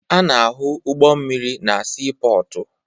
A na-ahụ ụgbọ mmiri na siipọọtụ